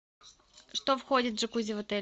что входит в джакузи в отеле